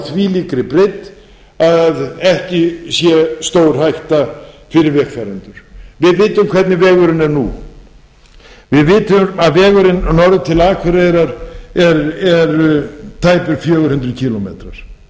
þvílíkri breidd að ekki sé stórhætta fyrir vegfarendur við vitum hvernig vegurinn er nú við vitum að vegurinn norður til akureyrar eru tæpir fjögur hundruð kílómetra og við vitum að